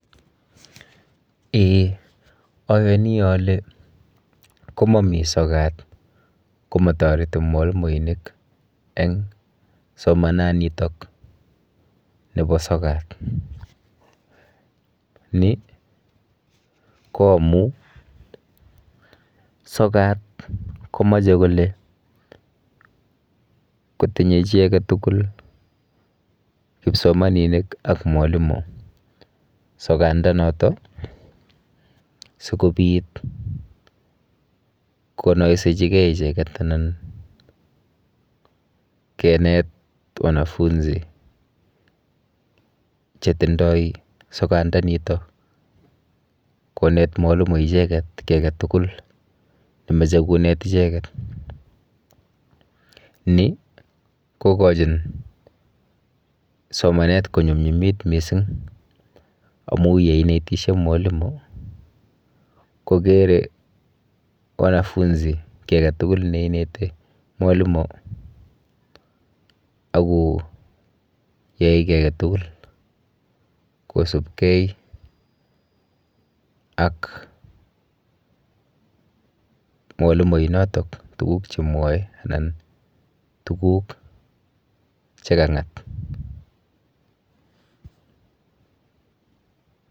Eeh! Ayani ale, komami sokat komatoreti mwalimuinik eng somananito nebo sokat. Ni koamu sikat komoche kole kotinye tugul kipsomaninik ak mwalimuinik sokandonoto sigopit konoisechige icheget anan kenet wanafunzi chetindoi sokatndanito konet mwalimuisiek icheget kiy age tugul nemoche konet icheget. Ni kokachin somanet konyumnyumit misinging amu yeinetisie mwalimu kokere wanafunsi kiagetugul ne ineti mwalimuako yai kiy agetugul kosubkei ak mwalimuinotok tuguk che mwoe anan tuguk che kangat.